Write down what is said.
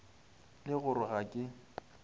le go re ga ke